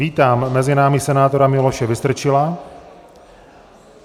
Vítám mezi námi senátora Miloše Vystrčila.